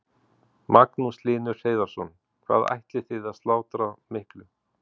Magnús Hlynur Hreiðarsson: Hvað ætlið þið að slátra miklu?